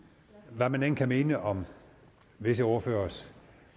hvad man end kan mene om visse ordføreres